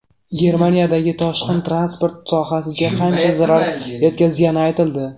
Germaniyadagi toshqin transport sohasiga qancha zarar yetkazgani aytildi.